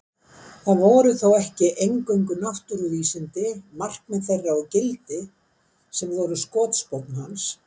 Það voru þó ekki eingöngu náttúruvísindi, markmið þeirra og gildi, sem voru skotspónn hans.